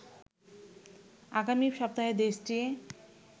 আগামী সপ্তাহে দেশটি